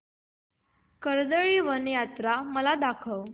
कर्दळीवन यात्रा मला सांग